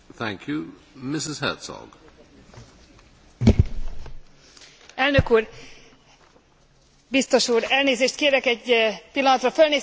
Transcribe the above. Elnök úr, biztos úr, elnézést kérek, egy pillanatra fölnéztem a karzatra, mert abban a szerencsében van részem, hogy épp egy magyarországi látogatócsoport is itt lehet.